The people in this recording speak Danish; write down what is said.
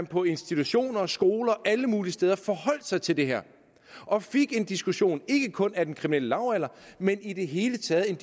på institutioner skoler og alle mulige steder forholdt sig til det her og fik en diskussion ikke kun af den kriminelle lavalder men i det hele taget